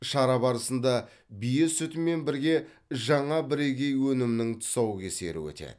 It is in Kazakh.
шара барысында бие сүтімен бірге жаңа бірегей өнімнің тұсаукесері өтеді